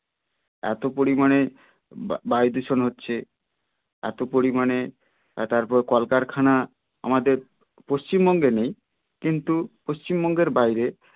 এতো পরিমানে বা~বায়ু দূষণ হচ্ছে এতো পরিমানে তারপরে কলকারখানা আমাদের পশ্চিমবঙ্গে নেই কিন্তু পশ্চিমবঙ্গের বাইরে